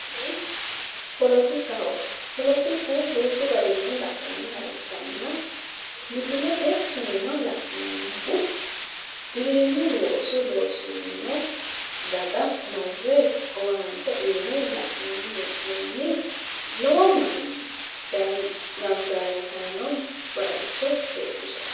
Kuni polotikaho. Polotiku duuchu garinni la'nanniha ikkanna misilete iima la'neemmohu giwirinnu looso loosirinno daga marre owaante uyine la'nanni hee'noonni. Lowo manni daye gangalatanno baayicho leellishanno.